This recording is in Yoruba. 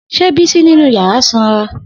Se Bisi ninu yara sanra?